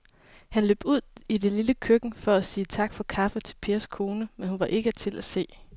Han løb ud i det lille køkken for at sige tak for kaffe til Pers kone, men hun var ikke til at se.